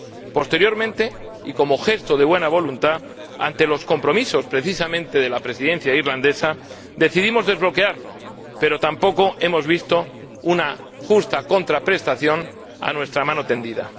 Posteriormente, y como gesto de buena voluntad, ante los compromisos precisamente de la Presidencia irlandesa, decidimos desbloquearlo, pero tampoco hemos visto una justa contraprestación a nuestra mano tendida.